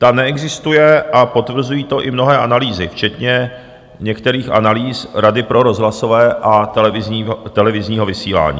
Ta neexistuje a potvrzují to i mnohé analýzy, včetně některých analýz Rady pro rozhlasové a televizní vysílání.